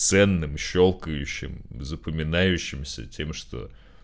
ценным щёлкающем запоминающимся тем что